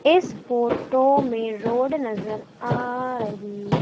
इस फोटो में रोड नजर आ रही--